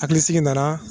Hakilisigi nana